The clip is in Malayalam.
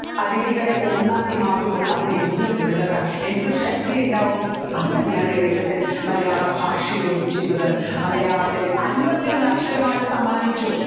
അരുവികൾ ഒന്നാക്കി മാറ്റുംപ്പോൾ അവിടെ എന്തൊരു ദൃഢത എന്തൊരു ശക്തിയുണ്ടാവും അതുതന്നെയാണ് എഴുത്തച്ഛൻ മലയാളഭാഷയോടും ചെയ്തത് മലയാളത്തിൽ അൻപത്തി ഒന്ന് അക്ഷരമാല സമ്മാനിച്ചു